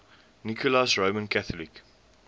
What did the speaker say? nicholas roman catholic